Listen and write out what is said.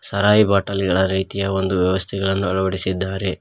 ಸರಾಯಿ bottle ಗಳ ರೀತಿಯ ಒಂದು ವ್ಯವಸ್ಥೆಗಳನ್ನು ಅಳವಡಿಸಿದ್ದಾರೆ.